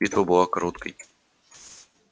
битва была короткой